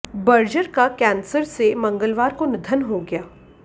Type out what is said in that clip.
Berger का cancer से मंगलवार को निधन हो गया